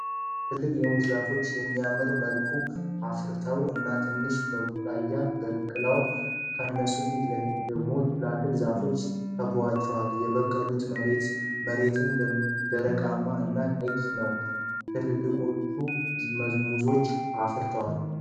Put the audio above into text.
ትልልቅ የሙዝ ዛፎች በሚያምር መልኩ አፍርተው እና ትንንሽ ቡቃያወች በቅለዋል። ከነሱ ፊት ለፊት ላይ ደግሞ ትልልቅ ዛፎች ከበዋቸዋል። የበቅሉበት መሬትም ደረቃማ እና ቀይ ነው። ትልልቆችሁ ሙዞችም አፍርተዋል።